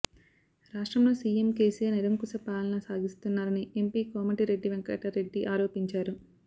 రాష్ట్రంలో సీఎం కేసీఆర్ నిరంకుశ పాలన సాగిస్తున్నారని ఎంపీ కోమటిరెడ్డి వెంకటరెడ్డి ఆరోపించారు